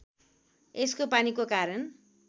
यसको पानीको कारण